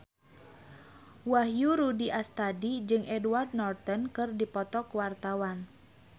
Wahyu Rudi Astadi jeung Edward Norton keur dipoto ku wartawan